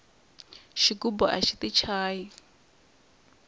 xigubu axi ti chayi